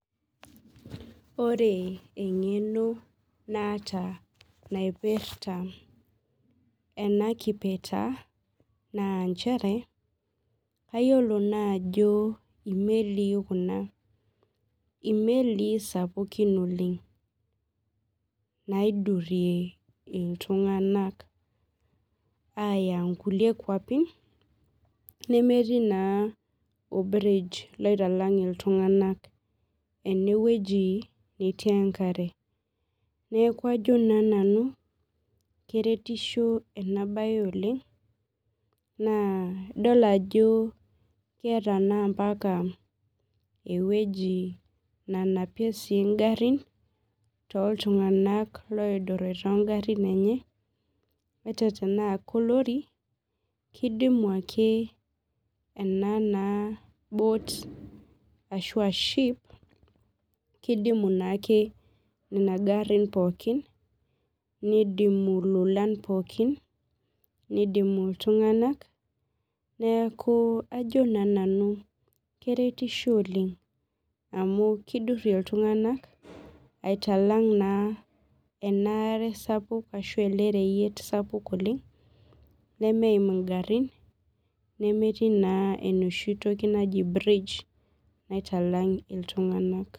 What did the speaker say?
Ore engeno naata naipirta enakipirta na nchere kayiolo naa ajo imelii sapukin kuna naidurie ltunganak aya nkulie kwapi nemetii or bridge oitalang ltunganak enewueji netii enkarebneaku ajo na nanu keretisho enabae oleng amu keeta ewoi nanapie ngarin toltunganak loidurira ongarin enye ataa tanaa olori kidimu ake enaa ship kidimu ake nona garin pooki nidimu ltunganak neaku ajo na nanu keretisho oleng amu kidurie ltunganak aitalamg elereyiet sapuk nemetii enoshi toki naji bridge naitalang ltunganak